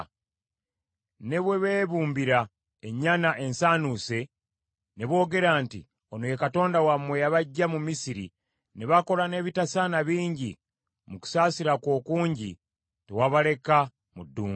Ne bwe beebumbira ennyana ensanuuse ne boogera nti, ‘Ono ye katonda wammwe eyabaggya mu Misiri,’ ne bakola n’ebitasaana bingi, mu kusaasira kwo okungi tewabaleka mu ddungu.